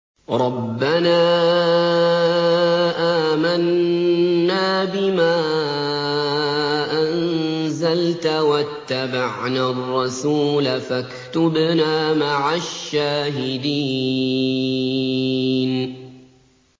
رَبَّنَا آمَنَّا بِمَا أَنزَلْتَ وَاتَّبَعْنَا الرَّسُولَ فَاكْتُبْنَا مَعَ الشَّاهِدِينَ